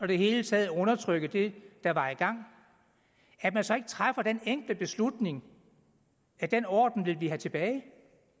det hele taget undertrykke det der var i gang at man så ikke træffer den enkle beslutning at den orden vil vi have tilbage det